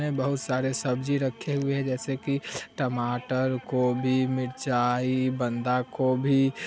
में बहुत सारे सब्ज़ी रखे हुए है जैसे की टमाटर कोबी मिरचाई बंधा कोबी।